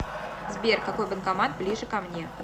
сбер какой банкомат ближе ко мне